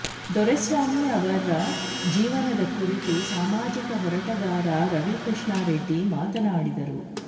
ದೊರೆಸ್ವಾಮಿ ಅವರ ಜೀವನದ ಕುರಿತು ಸಾಮಾಜಿಕ ಹೋರಾಟಗಾರ ರವಿಕೃಷ್ಣಾರೆಡ್ಡಿ ಮಾತನಾಡಿದರು